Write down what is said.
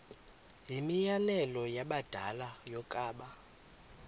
yimianelo yabadala yokaba